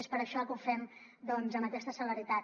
és per això que ho fem doncs amb aquesta celeritat